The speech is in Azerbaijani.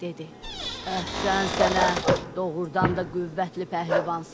Dedi: Əhsən sənə, doğrudan da qüvvətli pəhlivansan.